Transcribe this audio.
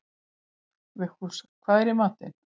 Vigfús, hvað er í matinn?